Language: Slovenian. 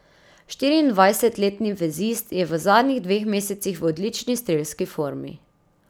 Štiriindvajsetletni vezist je v zadnjih dveh mesecih v odlični strelski formi.